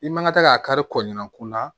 I man kan ka taa k'a kari kɔɲɔ kun na